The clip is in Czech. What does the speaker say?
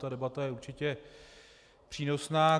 Ta debata je určitě přínosná.